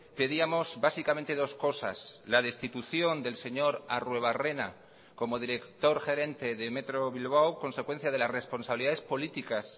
pedíamos básicamente dos cosas la destitución del señor arruebarrena como director gerente de metro bilbao consecuencia de las responsabilidades políticas